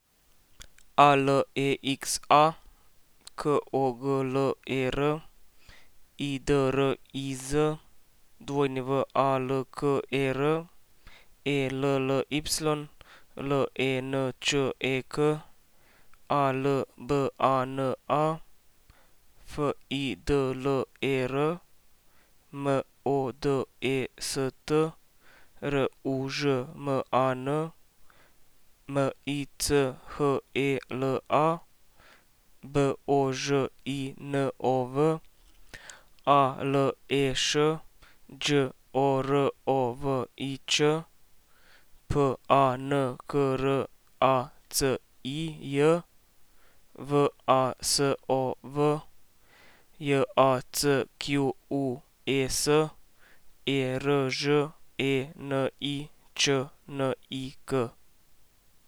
Alexa Kogler, Idriz Walker, Elly Lenček, Albana Fidler, Modest Ružman, Michela Božinov, Aleš Đorović, Pankracij Vasov, Jacques Erženičnik.